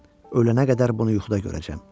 Ölənə qədər bunu yuxuda görəcəyəm.